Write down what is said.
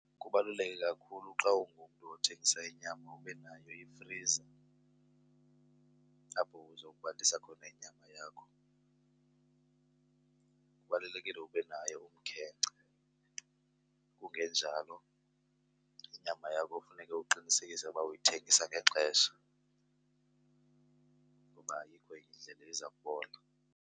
Kubaluleke kakhulu xa ungumntu othengisa inyama ube nayo ifriza apho uzobandisa khona inyama yakho. Kubalulekile ube naye umkhenkce kungenjalo inyama yakho kofuneke uqinisekise uba uyithengisa ngexesha ngoba ayikho enye indlela iza kubola.